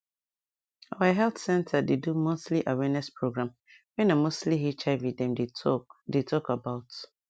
our health center dey do monthly awareness program wey na mostly hiv dem dey talk dey talk about